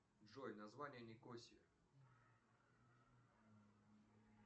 джой название никосии